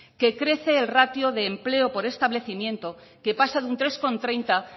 que crece el ratio de empleo por establecimiento que pasa de tres coma treinta